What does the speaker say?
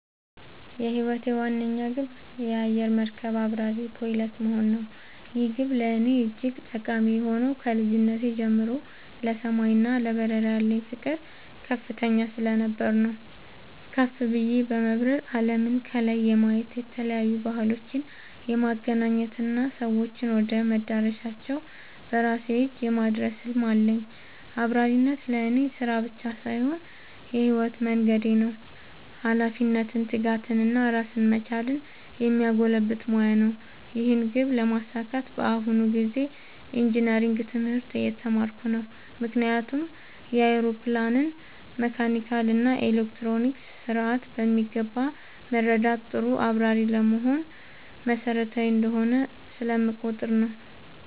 የህይወቴ ዋነኛ ግብ የአየር መርከብ አብራሪ (Pilot) መሆን ነው። ይህ ግብ ለእኔ እጅግ ጠቃሚ የሆነው ከልጅነቴ ጀምሮ ለሰማይ እና ለበረራ ያለኝ ፍቅር ከፍተኛ ስለነበር ነው። ከፍ ብዬ በመብረር አለምን ከላይ የማየት፣ የተለያዩ ባህሎችን የማገናኘት እና ሰዎችን ወደ መዳረሻቸው በራሴ እጅ የማድረስ ህልም አለኝ። አብራሪነት ለእኔ ስራ ብቻ ሳይሆን የህይወት መንገዴ ነው - ኃላፊነትን፣ ትጋትን እና ራስን መቻልን የሚያጎለብት ሙያ ነው። ይህን ግብ ለማሳካት በአሁኑ ጊዜ ኢንጂነሪንግ (Engineering) ትምህርት እየተማርኩ ነው። ምክንያቱም የአውሮፕላንን መካኒካል እና ኤሌክትሮኒክስ ስርዓት በሚገባ መረዳት ጥሩ አብራሪ ለመሆን መሰረታዊ እንደሆነ ስለምቆጠር ነው።